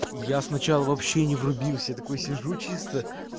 я сначала вообще не врубился такой сижу чисто